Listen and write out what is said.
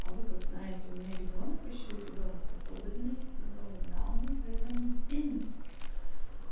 а вы как знаете у меня ребёнок ещё и ребёнок особенный с синдромом дауна поэтому